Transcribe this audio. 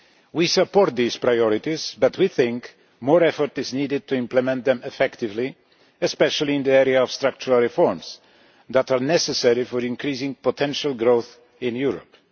We support these priorities, but we think that more effort is needed to implement them effectively, especially in the area of structural reforms that are necessary for increasing potential growth in Europe.